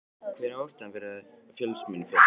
Hver er ástæðan fyrir því að Fjölnismenn féllu?